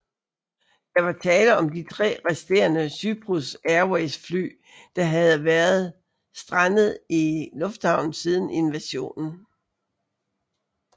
Der var tale om de tre resterende Cyprus Airways fly der havde været strandet i lufthavnen siden invasionen